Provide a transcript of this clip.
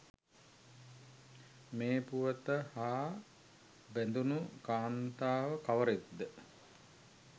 මේ පුවත හා බැඳුනු කාන්තාව කවරෙක්ද?